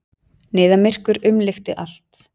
Niðamyrkur umlukti allt.